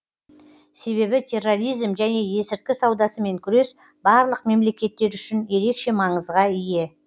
себебі терроризм және есірткі саудасымен күрес барлық мемлекеттер үшін ерекше маңызға ие